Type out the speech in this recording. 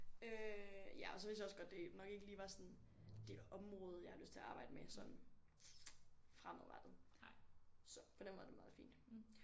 Øh ja og så vidste jeg også det nok ikke lige var sådan det område jeg har lyst til at arbejde med sådan fremadrettet så på den måde er det meget fint